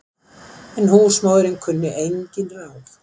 En húsmóðirin kunni engin ráð.